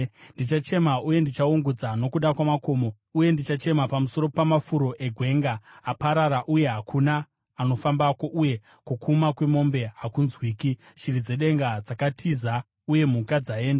Ndichachema uye ndichaungudza nokuda kwamakomo, uye ndichachema pamusoro pamafuro egwenga. Aparara uye hakuna anofambako, uye kukuma kwemombe hakunzwiki. Shiri dzedenga dzatiza, uye mhuka dzaenda.